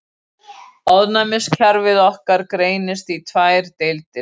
Ónæmiskerfi okkar greinist í tvær deildir.